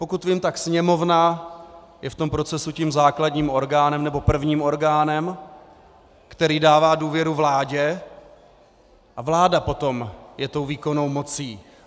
Pokud vím, tak Sněmovna je v tom procesu tím základním orgánem nebo prvním orgánem, který dává důvěru vládě, a vláda potom je tou výkonnou mocí.